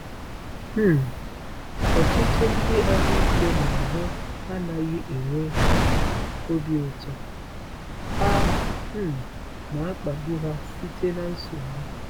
um Ọtụtụ ndị ahụike n’ahụ anaghị enwe obi ụtọ, a um na-akpagbu ha site na nsogbu.